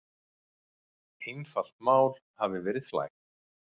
Einfalt mál hafi verið flækt.